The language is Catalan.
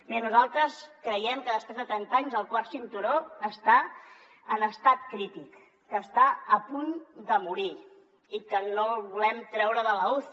bé nosaltres creiem que després de trenta anys el quart cinturó està en estat crític que està a punt de morir i que no el volem treure de l’uci